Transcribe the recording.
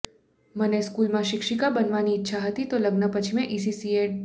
મને સ્કૂલમાં શિક્ષિકા બનવાની ઇચ્છા હતી તો લગ્ન પછી મેં ઈસીસી એડ